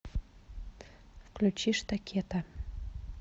включи штакета